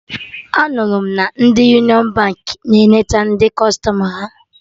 Anụrụ m na ndị Union Baankị na-enete ndị kụstọma ha